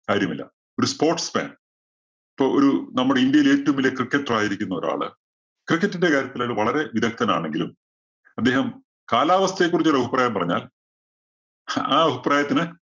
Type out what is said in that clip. കാര്യമില്ല. ഒരു sports man ഇപ്പോ ഒരു നമ്മുടെ ഇന്ത്യയിലെ ഏറ്റവും വലിയ cricketer ആയിരിക്കുന്ന ഒരാള് cricket ന്റെ കാര്യത്തിൽ അയാള് വളരെ വിദഗ്ദ്ധന്‍ ആണെങ്കിലും അദ്ദേഹം കാലാവസ്ഥയെ കുറിച്ചൊരഭിപ്രായം പറഞ്ഞാല്‍, അഹ് ആ അഭിപ്രായത്തിന്